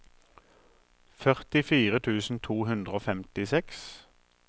førtifire tusen to hundre og femtiseks